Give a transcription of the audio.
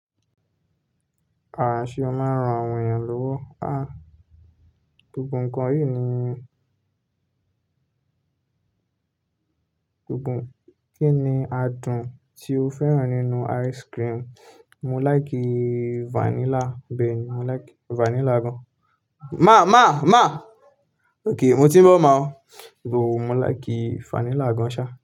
Ṣe mo máa ń ran àwọn èèyàn lówó. Gbogbo ǹkan yìí nìyí. Gbogbo. Kí ni adùn tí o fẹ́ràn nínú ice cream? Mo láìkí vanilla. Bẹ́ẹ̀ ni, mo láìkí vanilla gan. Ma ma ma. Óké, mo ti ń bọ̀ máa ọ. Bo, mo láìkí vanilla gan ṣá.